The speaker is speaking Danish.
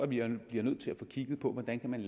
bliver nødt til at få kigget på hvordan man